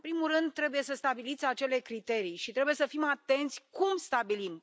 În primul rând, trebuie să stabiliți acele criterii și trebuie să fim atenți cum stabilim.